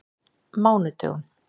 mánudögum